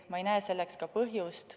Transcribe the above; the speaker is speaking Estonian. Ma ei näe selleks ka põhjust.